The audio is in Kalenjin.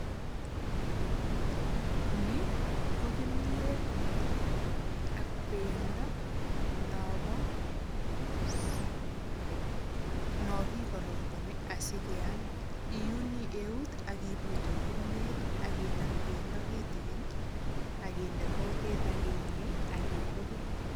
Ni ko kimiet ak bendo nokikorongoni asikeam iuni eut akiputul kimiet akinam bendo kitikin akinde kutik akinyei akilukui.